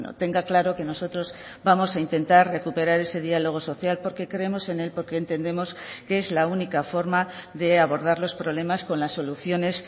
tenga claro que nosotros vamos a intentar recuperar ese diálogo social porque creemos en él porque entendemos que es la única forma de abordar los problemas con las soluciones